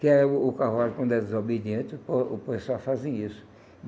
Que é o o cavalo, quando é desobediente, o pe o pessoal fazem isso.